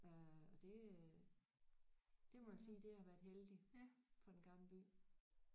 Øh og det øh det må man sige det har været heldigt for Den Gamle By